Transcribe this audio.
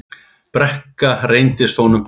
Brekka reynst honum brött.